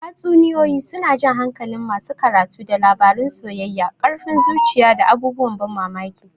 Tatsuniyoyi suna jan hankalin masu karatu da labarun soyayya, ƙarfin zuciya, da abubuwan ban mamaki.